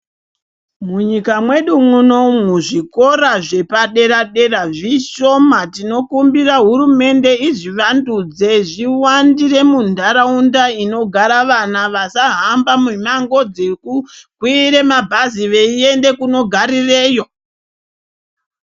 Munyika mwedu munomu, zvikora zvepadera- dera zvishoma Tinokumbira hurumende izvivandudze zviwandire munharaunda inogara vana ,vasahamba mumamgo dzekukwire mabhazi veienda kunogarireyo.